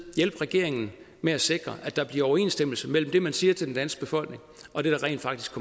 hjælpe regeringen med at sikre at der bliver overensstemmelse mellem det man siger til den danske befolkning og det der rent faktisk